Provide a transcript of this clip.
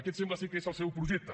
aquest sembla que és el seu projecte